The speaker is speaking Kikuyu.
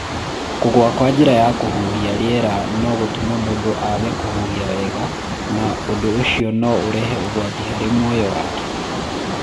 Kũgũa kwa njĩra ya kũhuhia rĩera no gũtũme mũndũ age kũhuhia wega na ũndũ ũcio no ũrehe ũgwati harĩ muoyo wake.